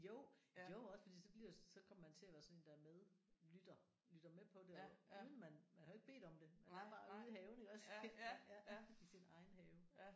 Jo jo også fordi så bliver så kommer man til at være sådan en der medlytter lytter med på det uden man man har jo ikke bedt om det man er bare ude i haven iggås ja i sin egen have